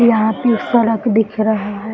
यहां पी सड़क दिख रहा है।